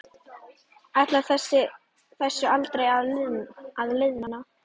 Ætlar þessu aldrei að linna?